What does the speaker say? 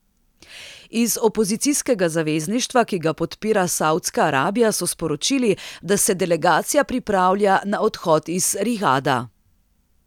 Iz opozicijskega zavezništva, ki ga podpira Saudska Arabija, so sporočili, da se delegacija pripravlja na odhod iz Rijada.